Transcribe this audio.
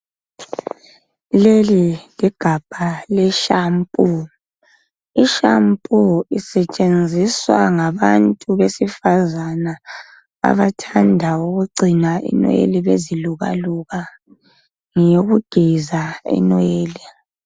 Leli ligamba le shampoo, isetshenziswa ngabantu besifazana abathanda ukugcina inwele beziluka luka ngeyokugeza inwele